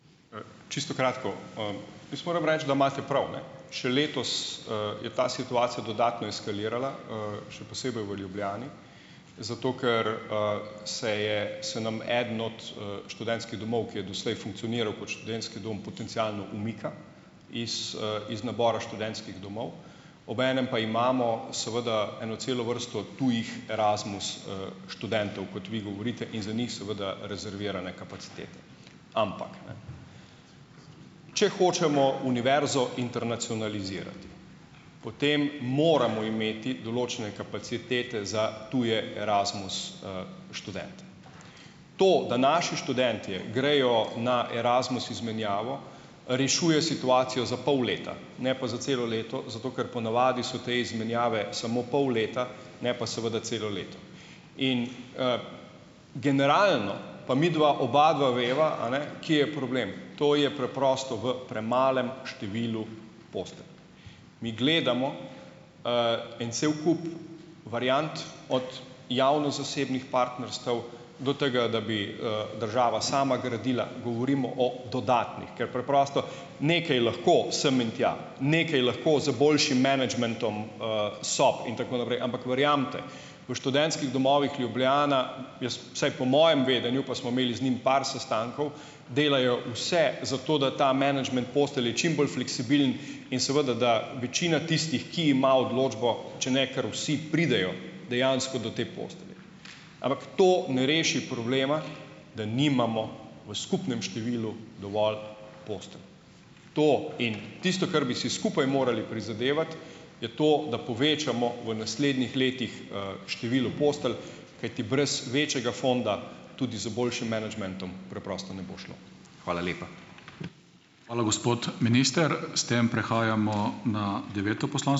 Čisto kratko. Jaz moram reči, da imate prav, ne. Še letos, je ta situacija dodatno eskalirala, še posebej v Ljubljani, zato ker se je, se nam eden od, študentskih domov, ki je doslej funkcioniral kot študentski dom, potencialno umika iz, iz nabora študentskih domov. Obenem pa imamo seveda eno celo vrsto tujih Erasmus študentov, kot vi govorite, in za njih seveda rezervirane kapacitete. Ampak, če hočemo univerzo internacionalizirati, potem moramo imeti določene kapacitete za tuje Erasmus študente. To, da naši študentje grejo na Erasmus izmenjavo, rešuje situacijo za pol leta, ne pa za celo leto, zato ker po navadi so te izmenjave samo pol leta, ne pa seveda celo leto. In generalno pa midva obadva veva, a ne, kje, problem, to je preprosto v premalem številu postelja. Mi gledamo en cel kup variant, od javno-zasebnih partnerstev do tega, da bi, država sama gradila, govorimo o dodatnih, ker preprosto nekaj lahko sem in tja, nekaj lahko z boljšim menedžmentom, sob in tako naprej, ampak verjemite, v študentskih domovih Ljubljana, jaz vsaj po mojem vedenju, pa smo imeli z njimi par sestankov, delajo vse za to, da ta menedžment postelj je čim bolj fleksibilen, in seveda, da večina tistih, ki ima odločbo, če ne ker vsi, pridejo dejansko do te postelje. Ampak to ne reši problema, da nimamo v skupnem številu dovolj postelj. To in tisto, kar bi si skupaj morali prizadevati, je to, da povečamo v naslednjih letih, število postelj, kajti brez večjega fonda, tudi z boljšim menedžmentom preprosto ne bo šlo. Hvala lepa.